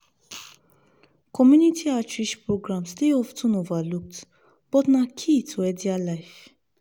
community outreach programs dey of ten overlooked but na key to healthier life.